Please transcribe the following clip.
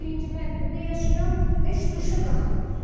Birinci mərtəbədə yaşayıram, heç duşa qalxmır su.